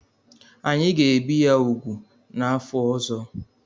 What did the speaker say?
Anyị ga-ebi ya úgwù n'afọ ọzọ.